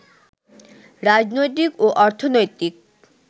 রাজনৈতিক ও অর্থনৈতিক